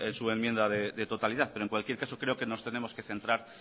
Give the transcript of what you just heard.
su enmienda de totalidad pero en cualquier caso creo que nos tenemos que centrar